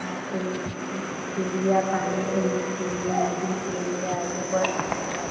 यहाँ पे चिड़िया पानी पीने के लिए नदी के आगे बढ़ रही है।